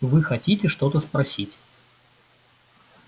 вы хотите что-то спросить